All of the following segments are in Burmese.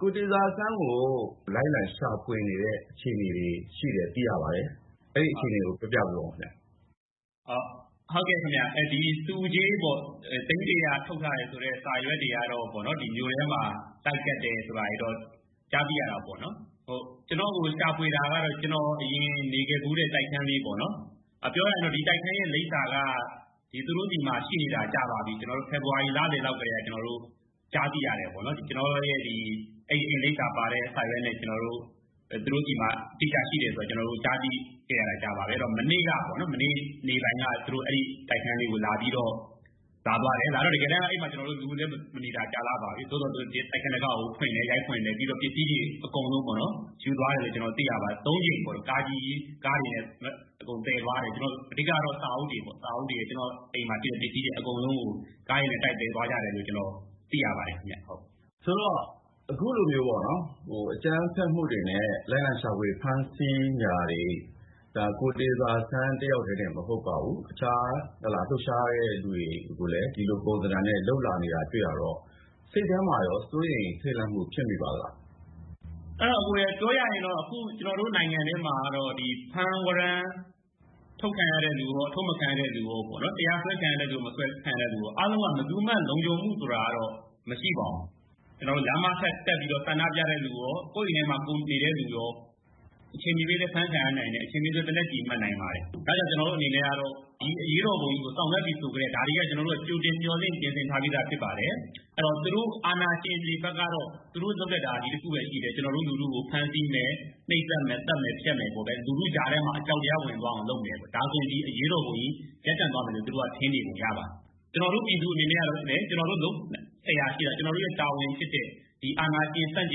ကိုတေဇာဆန်းကို လိုက်လံရှာဖွေနေတဲ့ အခြေအနေရှိတယ်ဆိုတာ သိရပါတယ်။ အဲဒီအခြေအနေကို ပြောပြပေးပါဦး။ ဟုတ်ကဲ့ခင်ဗျ ဒီဆုကြေးပေ့ါ သိန်း ၁၀၀ ထုတ်ထားတယ်ဆိုတဲ့ စာရွက်တွေကတော့ မြို့ထဲမှာ လိုက်ကပ်တယ်ဆိုတာတော့ ကြားသိရတာပေါ့နော်။ ကျနော့်ကို ရှာဖွေတာကတော့ ကျနော်အရင် နေခဲ့ဖူးတဲ့ တိုက်ခန်းလေးပေ့ါနော် ပြောရရင်တော့ ဒီတိုက်ခန်းရဲ့ လိပ်စာက သူတို့ဆီမှာ ရှိနေတာကြာပါပြီ။ ကျနော်တို့ ဖေဖော်ဝါရီ လလည်လောက်က ကြားသိရတယ်ပေါ့နော်။ ကျနော့်အိမ်လိပ်စာပါတဲ့ စာရွက်နဲ့ သူတို့ဆီမှာ အတိအကျရှိတယ်ဆိုတာ ကြားသိခဲ့ရတာကြာပါပြီ။ မနေ့ နေ့ပိုင်းကပေါ့နော် သူတို့ အဲဒီ တိုက်ခန်းလေးကို လာပြီးတော့ လာသွားတယ်။ တကယ်တမ်း အဲဒီမှာ လူမနေတာ ကြာလှပါပြီ။ သူတို့ တိုက်ခန်းတံခါးကို ရိုက်ဖွင့်တယ် ၊ ပြီးတော့ ပစ္စည်းတွေ အကုန်လုံးပေါ့နော် ယူသွားတယ်လို့ သိရပါတယ်။ ၃ ကြိမ်ပေါ့နော် ကားတွေနဲ့ အကုန်သယ်သွားတယ်။ အဓိကတော့ စာအုပ်တွေပေါ့နော် ကျနော့်အိမ်မှာရှိတဲ့ ပစ္စည်းတွေအကုန်လုံးကို ကားတွေနဲ့ သယ်သွားကြတယ်ဆိုတာ သိရပါတယ်။ ဆိုတော့ အခုလိုမျိုး အကြမ်းဖက်မှုတွေနဲ့ လိုက်လံရှာဖွေ ဖမ်းဆီးတာတွေ ကိုတေဇာဆန်းတယောက်တည်းတင်မဟုတ်ပါဘူး။ အခြားလှုပ်ရှားတဲ့သူတွေကိုလည်း ဒီလိုပုံစံနဲ့ လုပ်တာတေ့ွရတော့ စိတ်ထဲမှာရော စိုးရိမ်ထိတ်လန့်မှုတွေ ဖြစ်မိပါသလား။ အဲဒါအကိုရေ ပြောရရင်တော့ အခု ကျနော်တို့ နိုင်ငံထဲမှာ ဖမ်းဝရမ်း ထုတ်ခံရတဲ့လူရော အထုတ်မခံရတဲ့ လူရော ၊ တရားစွဲခံရတဲ့လူရော မစွဲခံရတဲ့ လူရော အားလုံးက ဘယ်သူမှ လုံခြုံမှုဆိုတာတော့ မရှိပါဘူး။ ကျနော်တို့ လမ်းမထက်တက်ပြီးတော့ ဆန္ဒပြတဲ့လူတွေရော ကိုယ့်အိမ်ထဲမှာ နေတဲ့လူတွေရော အချိန်မရွေးလည်း အဖမ်းခံရနိုင်တယ်၊ အချိန်မရွေးလည်း သေနတ်ကျည်မှန်နိုင်ပါတယ်။ ဒါကြောင့် ကျနော်တို့အနေနဲ့ကတော့ ဒီအရေးတော်ပုံကြီးကို ဆောင်ရွက်ပြီဆိုတာနဲ့ ဒါတွေက ကြိုတင်မျှော်လင့်ပြင်ဆင်ထားပြီးသား ဖြစ်ပါတယ်။ အဲဒီတော့ သူတို့ အာဏာရှင်တွေဘက်ကတော့ သူတို့ လုပ်တတ်တာ ဒီတခုပဲရှိတယ်။ ကျနော်တို့ လူထုကို နှိတ်စက်မယ် ၊ ဖမ်းဆီးမယ်၊ သတ်မယ်၊ ဖြတ်မယ် ဆိုပြီးတော့လူထုကြားထဲမှာ အကြောက်တရား ဝင်သွားအောင်လုပ်မယ်ပေါ့။ ဒါဆိုရင် ဒီအရေးတော်ပုံကြီးရပ်သွားမယ်ဆိုပြီးတော့ ထင်နေပုံရပါတယ်။ ကျနော်တို့ ပြည်သူအနေနဲ့ကလည်း ကျနော်တို့ လုပ်စရာရှိတာ ကျနော်တို့တာဝန်ဖြစ်တဲ့ အာဏာရှင်ဆန့်ကျ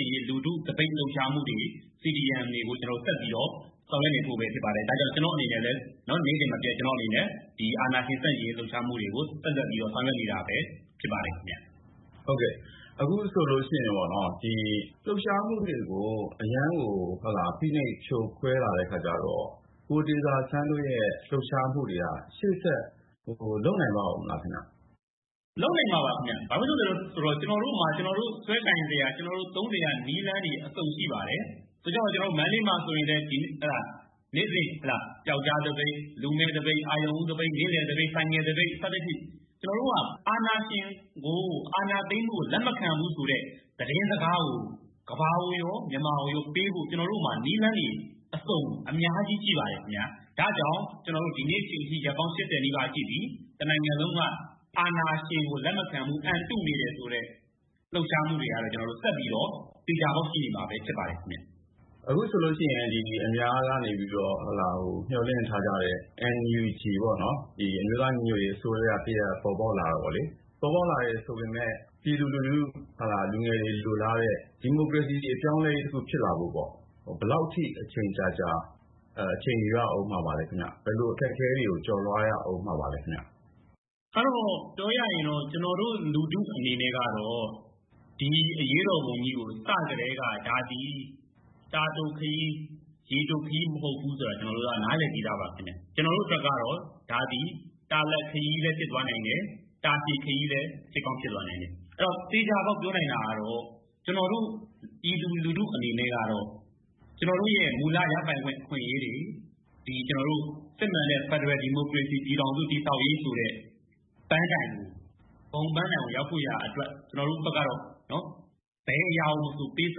င်ရေး လူထုသပိတ်လှုပ်ရှားမှုတွေ၊ CDM တွေကို ဆက်ပြီးတော့ ဆောင်ရွက်နေဖို့ဖြစ်ပါတယ်။ ဒါကြောင့် ကျနော့်အနေနဲ့လည်း နေ့စဉ်မပျက် အာဏာရှင်ဆန့်ကျင်ရေး လှုပ်ရှားမှုတွေကို ဆက်လက်ပြီးတော့ ဆောင်ရွက်နေတာပဲဖြစ်ပါတယ်။ ဟုတ်ကဲ့ အခုဆိုရင်ပေါ့နော် ၊ လှုပ်ရှားမှုတွေကို အရမ်းကို ဖိနှိပ် ဖြိုခွဲလာတော့ ကိုတေဇာဆန်းတို့ လှုပ်ရှားမှုတွေက ရှေ့ဆက်လုပ်နိုင်ပါဦးမလားခင်ဗျ။ လုပ်နိုင်မှာပါခင်ဗျ ဘာဖြစ်လို့လဲဆိုတော့ ကျနော်တို့မှ ကျနော်တို့ ဆွဲကိုင်စရာ၊ သုံးစရာ နည်းလမ်းတွေ အစုံရှိပါတယ်။ ဆိုကြပါတော့ ကျနော်တို့ မန္တလေးမှာ ဆိုရင်လည်း နေ့စဉ် ပြောက်ကျားသပိတ် ၊ လူမဲ့သပိတ် ၊ အာရုဏ်ဦးသပိတ် ၊ နေ့လည်သပိတ်၊ ဆိုင်ကယ်သပိတ် စသဖြင့် ကျနော်တို့က အာဏာရှင်ကို အာဏာသိမ်းမှုကို လက်မခံဘူးဆိုတဲ့ သတင်းစကားကို ကမ္ဘာကိုရော မြန်မာကိုရော ပေးဖို့ နည်းလမ်းတွေ ကျနော်တို့မှာ အစုံရှိပါတယ်။ ဒါကြောင့် ဒီနေ့အချိန်အထိ ရက်ပေါင်း ၈၀ နီးပါးရှိပြီ တနိုင်ငံလုံးက အာဏာရှင်ကို လက်မခံဘူး၊ အံတုနေတယ်ဆိုတဲ့ လှုပ်ရှားမှုတွေကတော့ ဆက်ပြီးတော့ သေချာပေါက်ရှိနေမှာပဲဖြစ်ပါတယ်ခင်ဗျ။ အခုဆိုရင် အများကနေပြီးတော့ မျှော်လင့်ထားတဲ့ NUG အမျိုးသားညီညွတ်ရေးအစိုးရ တရပ်ပေါ်ပေါက်လာတာပေါ့လေ။ ပေါ်ပေါက်လာတယ်ဆိုပေမယ့် လူငယ်တွေ လိုလားတဲ့ ဒီမိုကရေစီ အပြောင်းအလဲတခု ဖြစ်လာဖို့ပေါ့နော် ဘယ်လောက်အထိ အချိန်ယူရဦးမှာပါလဲ၊ ဘယ်လိုအခက်အခဲတွေကို ကျော်လွှားရဦးမလဲ ခင်ဗျ။ ကျနော်တို့ လူထုအနေနဲ့ကတော့ ဒီအရေးတော်ပုံကို စကတည်းက ဒါသည် ရေတိုခရီးမဟုတ်ဘူးဆိုတာ နားလည်ပြီးသားပါ။ ကျနော်တို့အတွက်ကတော့ ဒါသည် တာလတ်ခရီးလည်းဖြစ်နိုင်တယ်။ တာရှည်ခရီးလည်းဖြစ်နိုင်တယ်။ အဲဒီတော့ သေချာပေါက်ပြောနိုင်တာကတော့ ကျနော်တို့ ပြည်သူလူထုအနေနဲ့ကတော့ ကျနေ်ာတို့ မူလရပိုင်ခွင့် အခွင့်အရေးတွေ စစ်မှန်တဲ့ ဖယ်ဒရယ် ဒီမိုကရေစီ ပြည်ထောင်စု တည်ဆောက်ရေးတွေဆိုတဲ့ ပန်းတိုင်ကို ရောက်ဖို့အတွက် ကျနော်တို့ ဘက်ကတော့ ဘယ်အရာကို ပေးဆ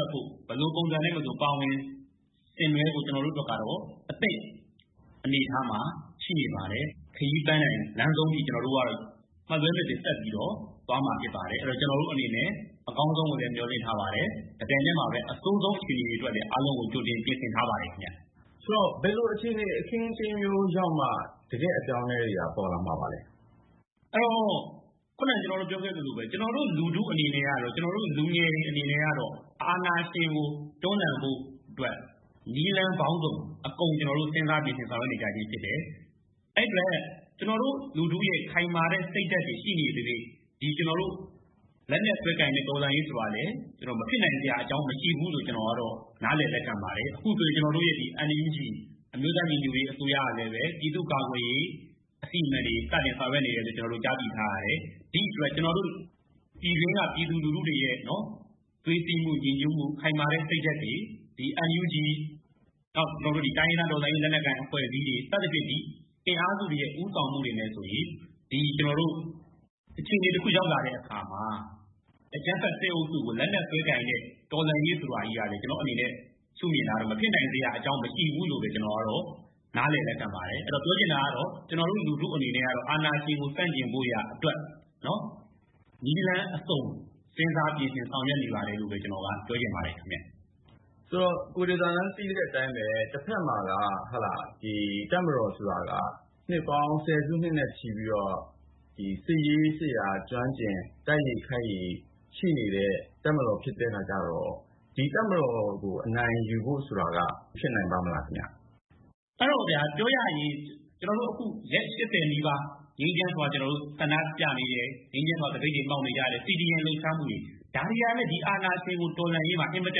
ပ်ဖို့၊ ဘယ်လိုပုံစံနဲ့မဆို ပါဝင်ဖို့ ကျနော်တို့ ဘက်ကတော့အသင့်အနေအထားမှာ ရှိနေပါတယ်။ ခရီးပန်းတိုင်လမ်းဆုံးအထိ ကျနော်တို့ကတော့ မလွဲမသွေ ဆက်ပြီးတော့ သွားမှာဖြစ်ပါတယ်။ အဲဒီတော့ ကျနော်တို့အနေနဲ့ အကောင်းဆုံးကိုလည်း မျှော်လင့်ထားပါတယ်။ တပြိုင်တည်းမှာလည်း အဆိုးဆုံးအခြေအနေအတွက်လည်း အားလုံးကို ကြိုတင်ပြင်ဆင်ထားပါတယ်။ ဆိုတော့ ဘယ်လိုအခြေအနေ အခင်းအကျင်းမျိုးရောက်မှ တကယ့်အပြောင်းအလဲတွေက ပေါ်လာမလဲ။ အဲဒီတော့ ခုနက ကျနော်တို့ ပြောခဲ့သလိုပဲ ကျနော်တို့ လူထုအနေနဲ့ လူငယ်တွေအနေနဲ့ကတော့ အာဏာရှင်ကိုတွန်းလှန်ဖို့အတွက် နည်းလမ်းပေါင်းစုံ အကုန်ကျနော်တို့ ဆောင်ရွက်နေကြခြင်းဖြစ်တယ်။ အဲဒီအတွက် ကျနော်တို့ လူထုရဲ့ ခိုင်မာတဲ့ စိတ်ဓါတ်တွေ ရှိနေသရွေ့ လက်နက်စွဲကိုင်တဲ့ တော်လှန်ရေးဆိုတာကလည်း မဖြစ်နိုင်စရာအကြောင်းမရှိဘူးလို့ နားလည်လက်ခံပါတယ်။ အခုဆိုရင် ကျနော်တို့ရဲ့ NUG အမျိုးသားညီညွတ်ရေးအစိုးရကလည်း ပြည်သူ့ကာကွယ်ရေး အစီအမံတွေ စတင်ဆောင်ရွက်နေတယ်လို့ ကျနော်တို့ ကြားသိထားရပါတယ်။ ဒီအတွက် ကျနော်တို့ ပြည်တွင်းက ပြည်သူလူထုတွေရဲ့ သွေးစည်းမှု ညီညွတ်မှု ခိုင်မာတဲ့ စိတ်ဓါတ်တွေ NUG နဲ့ တိုင်းရင်းသားတော်လှန်ရေး လက်နက်ကိုင်အဖွဲ့အစည်းတွေ စသဖြင့် ဒီအင်အားစုတွေရဲ့ ဦးဆောင်မှုနဲ့ဆိုရင် ကျနော်တို့ အခြေအနေတခု ရောက်လာတဲ့အခါမှာ အကြမ်းဖက် စစ်အုပ်စုကို လက်နက်စွဲကိုင်တဲ့ တော်လှန်ရေးဆိုတာကလည်း ကျနော့်အနေနဲ့ မဖြစ်လာနိုင်စရာမရှိဘူးလို့ပဲ ကျနေ်ာ နားလည်လက်ခံပါတယ်။ ပြောချင်တာကတော့ ကျနော်တို့ လူထုအနေနဲ့ကတော့ အာဏာရှင်ကို ဆန့်ကျင်ဖို့အတွက် နည်းလမ်းအစုံ စဉ်းစားပြင်ဆင် ဆောင်ရွက်နေပါတယ်လို့ ပြောချင်ပါတယ်။ ဆိုတော့ ကိုတေဇာဆန်း သိတဲ့အတိုင်းပဲ တဖက်မှာလည်း တပ်မတော်ဆိုတာက နှစ်ပေါင်း ဆယ်စုနှစ်နဲ့ ချီပြီးတော့ စစ်ရေးစစ်ရာကျွမ်းကျင်၊ တိုက်ရည်ခိုက်ရည်ရှိနေတဲ့ တပ်မတော်ဖြစ်နေတဲ့အခါကျတော့ တပ်မတော်ကို အနိုင်ယူဖို့ဆိုတာက ဖြစ်နိုင်ပါ့မလားခင်ဗျ။ အဲဒီတော့ ပြောရရင် ကျနော်တို့ ရက် ၈၀ နီးပါး ငြိမ်းချမ်းစွာ ဆန္ဒပြနေတယ်၊ ငြိမ်းချမ်းစွာ သပိတ်တွေ မှောက်နေတယ်၊ CDM လှုပ်ရှားမှုတွေ ဒါတွေကလည်း အာဏာရှင်တော်လှန်ရေးမှာ အင်မတ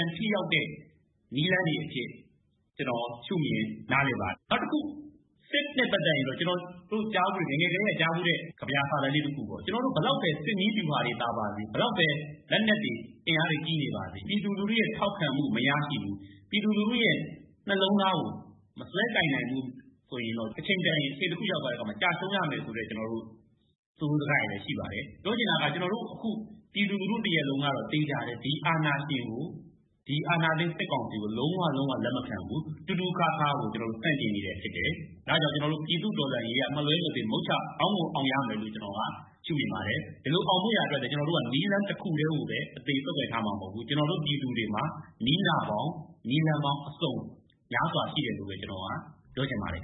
န်မှ ထိရောက်တဲ့ နည်းလမ်းတွေအဖြစ် ကျနော်ရှုမြင်နားလည်ပါတယ်။ နောက်တခု စစ်နဲ့ ပတ်သက်ရင်တော့ ကျနေ်ာတို့ ငယ်ငယ်ကတည်းက ကြားဖူးတဲ့ ကဗျာစာတန်းလေးတခုပေါ့ ကျနော်တို့ ဘယ်လောက်ပဲ စစ်နည်းဗျူဟာတွေ သာပါစေ၊ ဘယ်လောက်ပဲ လက်နက်အင်အားတွေ ကြီးနေပါစေ၊ ပြည်သူလူထုရဲ့ ထောက်ခံမှု မရရှိဘူး၊ ပြည်သူလူထုရဲ့ နှလုံးသားကို မစွဲကိုင်နိုင်ဘူးဆိုရင်တော့ အချိန်တခုရောက်သွားတဲ့အခါမှာ ကျရှုံးရမယ်ဆိုတဲ့ ဆိုရိုးစကားတွေလည်း ရှိပါတယ်။ ပြောချင်တာက ကျနော်တို့အခု ပြည်သူလူထုတရပ်လုံးကတော့ ဒီ အာဏာရှင်ကို ဒီ အာဏာသိမ်း စစ်ကောင်စီကို လုံးဝလက်မခံဘူး၊ ခါးခါးသီးသီးကို ဆန့်ကျင်နေတာဖြစ်တယ်။ ဒါကြောင့် ပြည်သူ့ တော်လှန်ရေးက မလွဲမသွေ မုချအောင်ကို အောင်ရမယ်လို့ ကျနော်က ရှုမြင်ပါတယ်။ ဒီလိုအောင်မြင်ဖို့ ကျနော်တို့က နည်းလမ်းတခုပဲ ဆုပ်ကိုင်ထားမှာ မဟုတ်ဘူး ကျနော်တို့ ပြည်သူတွေမှာ နည်းလမ်းပေါင်း ၊ နည်းနာပေါင်း အစုံ များစွာရှိတယ်လို့ ကျနော်ပြောချင်ပါတယ်